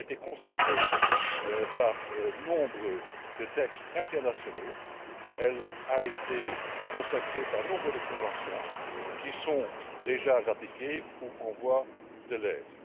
Elle a été consacrée par nombre de textes internationaux, elle a été consacrée par nombre de conventions qui sont déjà ratifiées ou en voie de l'être.